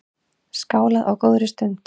Skálað á góðri stund.